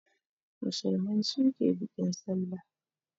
Musulmai su ke bikin Sallah.